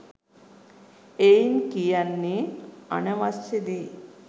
එයින් කියන්නේ අනවශ්‍ය දේ